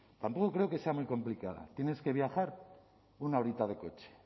tampoco creo que sea muy complicada tienes que viajar una horita de coche